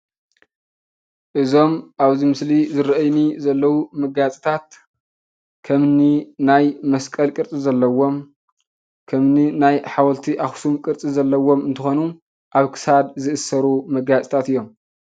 እዞም አብዚ ምስሊ ዝረእዩኒ ዘለዎ መጋየፅታት ከምኒ ናይ መስቀል ቅርፂ ዘለዎም፣ ከምኒ ናይ ሓወልቲ አኽሱም ቅርፂ ዘለዎም እንትኾኑ አብ ክሳድ ዝእሰሩ መጋየፅታት እዮም፡፡